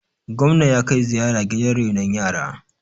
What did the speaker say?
gwamna ya kai ziyara gidan renon yara